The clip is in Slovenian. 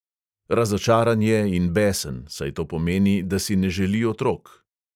Razočaran je in besen, saj to pomeni, da si ne želi otrok.